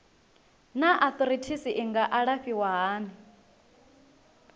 naa arthritis i nga alafhiwa hani